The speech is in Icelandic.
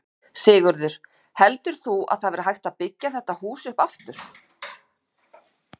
Sigurður: Heldur þú að það verði hægt að byggja þetta hús upp aftur?